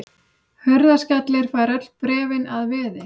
Hurðaskellir fær öll bréfin að veði.